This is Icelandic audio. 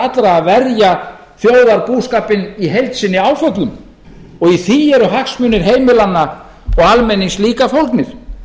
allra að verja þjóðarbúskapinn í heild sinni áföllum og í því eru hagsmunir heimilanna og almennings líka fólgnir